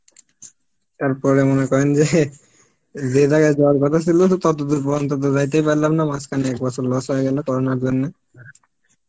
তার পরে মনে করেন যে, যে জায়গায় যাওয়ার কথা ছিল ততদূর পর্যন্ত তো যাইতেই পারলাম না মাঝখানে এক বছর loss হয়ে গেল করোনার জন্যে